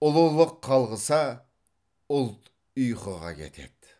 ұлылық қалғыса ұлт ұйқыға кетеді